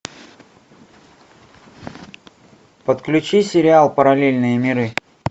подключи сериал параллельные миры